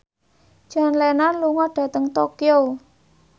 John Lennon lunga dhateng Tokyo